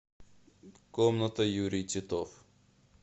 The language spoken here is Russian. комната юрий титов